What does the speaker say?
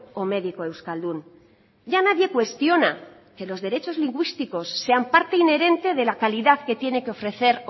o médico euskaldún ya nadie cuestiona que los derechos lingüísticos sean parte inherente de la calidad que tiene que ofrecer